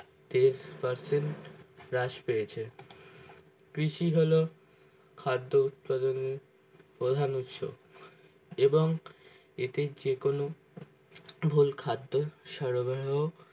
তিরুপ প্রাচীন flash পেয়েছে কৃষি হলো খাদ্য উৎপাদনের প্রধান উৎস এবং এতে যেকোনো ভুল খাদ্য সরবাহ